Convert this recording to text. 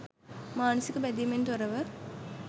මානසික බැඳීමෙන් තොරව